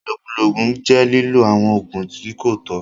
Ìlókùló óogun jẹ́ liló awọn óogun ti ko tọ̀.